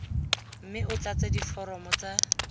mme o tlatse diforomo tsa